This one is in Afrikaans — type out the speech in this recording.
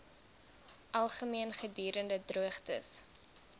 algemeen gedurende droogtes